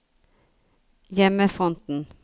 hjemmefronten